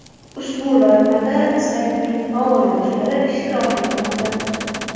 Ushbu loyihada saytning faol yoshlari ishtirok etmoqda.